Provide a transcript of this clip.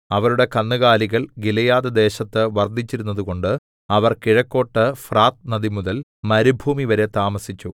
അവരുടെ കന്നുകാലികൾ ഗിലെയാദ്‌ദേശത്ത് വർദ്ധിച്ചിരുന്നതുകൊണ്ട് അവർ കിഴക്കോട്ട് ഫ്രാത്ത് നദിമുതൽ മരുഭൂമിവരെ താമസിച്ചു